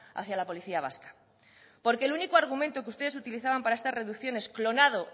hacia la policía vasca porque el único argumento que ustedes utilizaban para estas reducciones clonado